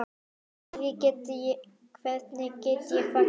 Hvernig get ég fagnað?